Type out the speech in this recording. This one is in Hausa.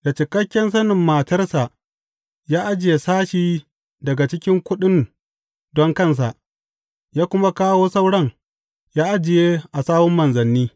Da cikakken sanin matarsa ya ajiye sashi daga cikin kuɗin don kansa, ya kuma kawo sauran ya ajiye a sawun manzanni.